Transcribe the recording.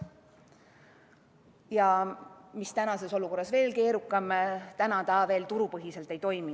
Ja mis tänases olukorras veel keerukam, täna ta veel turupõhiselt ei toimi.